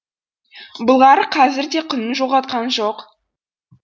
былғары қазір де құнын жоғалтқан жоқ